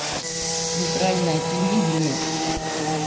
центральное телевидение